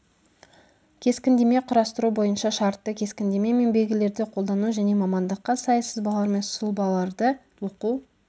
кескіндеме құрастыру бойынша шартты кескіндеме мен белгілерді қолдану және мамандыққа сай сызбалар мен сұлбаларды оқу